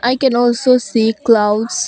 I can also see clouds.